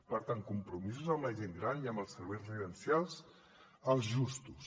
per tant compromisos amb la gent gran i amb els serveis residencials els justos